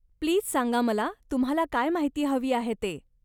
Please सांगा मला तुम्हाला काय माहिती हवी आहे ते.